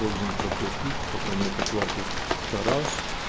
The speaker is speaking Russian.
должен проплатить пока нет оплаты это раз